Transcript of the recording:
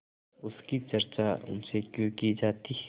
उसकी चर्चा उनसे क्यों की जाती